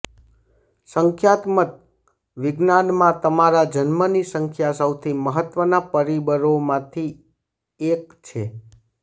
સંખ્યાત્મક વિજ્ઞાનમાં તમારા જન્મની સંખ્યા સૌથી મહત્વના પરિબળોમાંથી એક છે